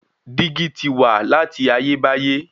Dígí ti wà láti ayé báyé.